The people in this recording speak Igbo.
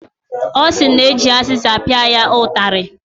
Ọ sị na eji azịza pịa ya ụtarị.